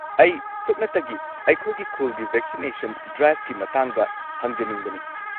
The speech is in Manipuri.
ꯑꯩ ꯁꯨꯞꯅꯇꯒꯤ ꯑꯩꯈꯣꯏꯒꯤ ꯈꯨꯜꯒꯤ ꯚꯦꯛꯁꯤꯅꯦꯁꯟ ꯗ꯭ꯔꯥꯢꯚꯀꯤ ꯃꯇꯥꯡꯗ ꯍꯪꯖꯅꯤꯡꯕꯅꯤ꯫